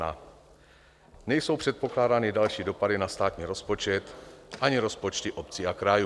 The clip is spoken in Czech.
Nejsou předpokládány další dopady na státní rozpočet ani rozpočty obcí a krajů.